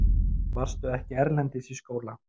Varstu ekki erlendis í skóla?